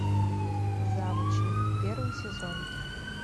завучи первый сезон